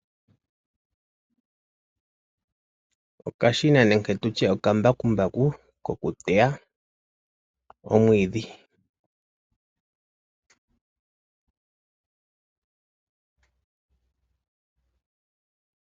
Okashina nenge tutye okambakumbaku koku teya omwiidhi.